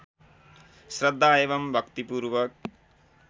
श्रद्धा एवं भक्तिपूर्वक